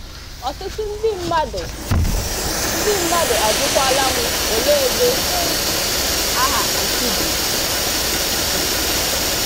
Ọtụtụ ndị mmadụ ndị mmadụ ajụkwaala m 'ole ebe um aha 'Nkubi' si?'